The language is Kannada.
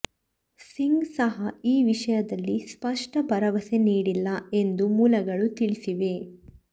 ಸಿಂಗ್ ಸಹ ಈ ವಿಷಯದಲ್ಲಿ ಸ್ಪಷ್ಟ ಭರವಸೆ ನೀಡಿಲ್ಲ ಎಂದು ಮೂಲಗಳು ತಿಳಿಸಿವೆ